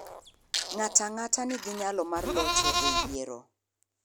Ng'ato ang'ata nigi nyalo mar locho e yiero.